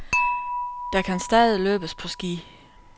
Der kan stadig løbes på ski.